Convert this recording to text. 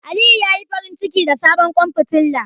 Aliyu ya yi farinciki da sabon ƙwan fitilar.